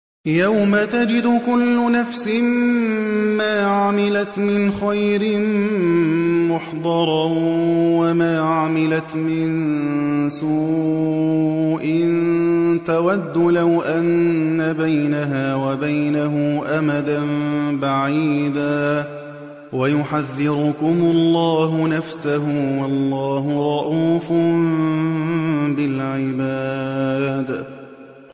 يَوْمَ تَجِدُ كُلُّ نَفْسٍ مَّا عَمِلَتْ مِنْ خَيْرٍ مُّحْضَرًا وَمَا عَمِلَتْ مِن سُوءٍ تَوَدُّ لَوْ أَنَّ بَيْنَهَا وَبَيْنَهُ أَمَدًا بَعِيدًا ۗ وَيُحَذِّرُكُمُ اللَّهُ نَفْسَهُ ۗ وَاللَّهُ رَءُوفٌ بِالْعِبَادِ